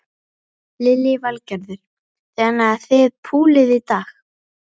Lillý Valgerður: Þannig að þið púlið í dag?